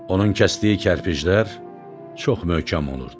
Onun kəsdiyi kərpiclər çox möhkəm olurdu.